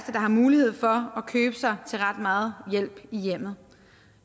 der har mulighed for at købe sig til ret meget hjælp i hjemmet